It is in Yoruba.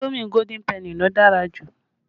Indomi Golden penny lo dára jù